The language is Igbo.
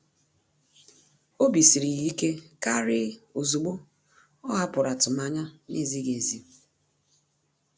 Obi siri ya ike kàrị́ ozugbo ọ́ hàpụ̀rụ̀ atụmanya nà-ézíghị́ ézí.